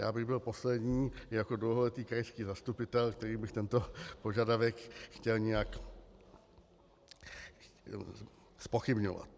Já bych byl poslední jako dlouholetý krajský zastupitel, který by tento požadavek chtěl nějak zpochybňovat.